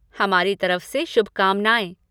हमारी तरफ से शुभकामनाएँ।